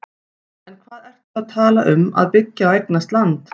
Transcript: En hvað ertu að tala um að byggja og eignast land?